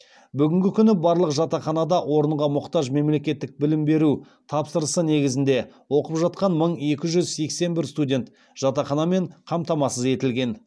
бүгінгі күні барлық жатақханадан орынға мұқтаж мемлекеттік білім беру тапсырысы негізінде оқып жатқан мың екі жүз сексен бір студент жатақханамен қамтамасыз етілген